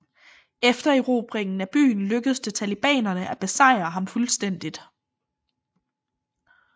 Efter erobringen af byen lykkedes det talibanerne at besejre ham fuldstændigt